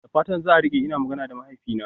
Da fatan za a rike, ina magana da mahaifina.